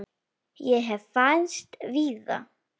Ég hef fæðst víða.